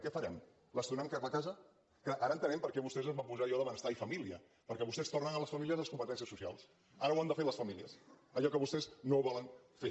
què farem les tornarem cap a casa que ara entenem per què vostès es van posar allò de benestar i família perquè vostès tornen a les famílies les competències socials ara ho han de fer les famílies allò que vostès no volen fer